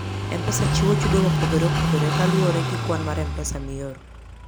M-Pesa chiwo chudo mopogore opogore kaluwore gi kwan mar pesa mioro.